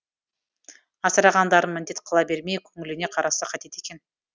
асырағандарын міндет қыла бермей көңіліне қараса қайтеді екен